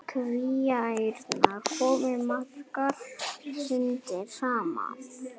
Kvíaærnar komu magrar undan sumrinu.